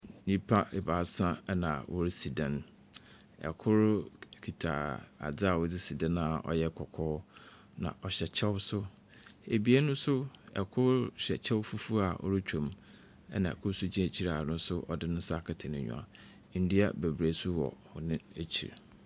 Nnipa baasa ɛna wɔresi dan, ɛkor kita adzeɛ a wɔde si dan a ɔyɛ kɔkɔɔ, na ɔhyɛ kyɛw nso. Abien nso ɛkor hyɛ kyɛw fufuo a ɔretwam ɛna ɛkor nso di akyir a ɔno nso de ne nsa akata n’enyiwa. Ndua bebree nso wɔ wɔn akyir.